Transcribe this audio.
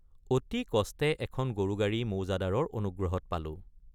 অতি কষ্টে এখন গৰুগাড়ী মৌজাদাৰৰ অনুগ্ৰহত পালোঁ।